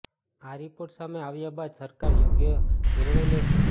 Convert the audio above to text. આ રિપોર્ટ સામે આવ્યા બાદ સરકાર યોગ્ય નિર્ણય લેશે